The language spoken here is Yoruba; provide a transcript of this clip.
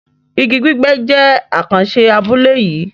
Ìgí gbígbẹ́ jẹ̀ àkànṣé abúlé yìí